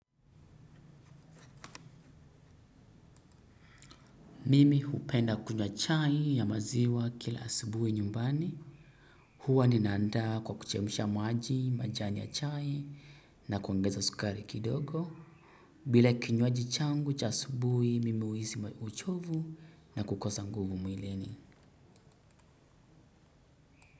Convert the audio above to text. Mimi upenda kunywa chai ya maziwa kila asubuhi nyumbani. Huwa ninaanda kwa kuchemusha maji, majani ya chai na kuongeza sukari kidogo. Bila kinywaji changu cha asubuhi mimi huisi uchovu na kukosa nguvu mwilini.